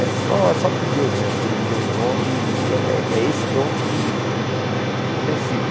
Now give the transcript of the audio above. É só é só por Deus mesmo que ele me deu um dom e é é esse dom que que eu sigo.